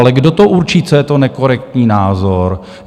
Ale kdo to určí, co je to, nekorektní názor?